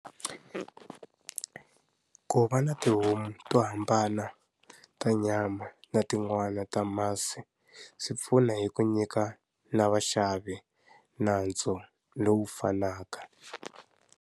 Ku va na tihomu to hambana, ta nyama na tin'wani ta masi, swi pfuna hi ku nyika na vaxavi nantso lowu fanaka.